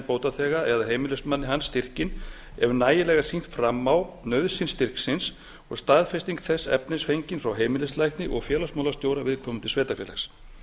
bótaþega eða heimilismanni hans styrkinn ef nægilega er sýnt fram á nauðsyn styrksins og staðfesting þess efnis fengin frá heimilislækni og félagsmálastjóra viðkomandi sveitarfélags